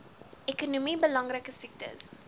ekonomies belangrike siektes